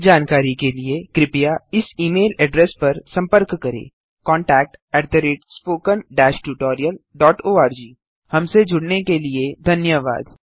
अधिक जानकारी के लिए कृपया इस ई मेल एड्रेस पर सम्पर्क करें contactspoken tutorialorg हमसे जुड़ने के लिए धन्यवाद